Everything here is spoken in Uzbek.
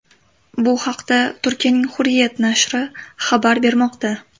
Bu haqda Turkiyaning Hurriyet nashri xabar bermoqda .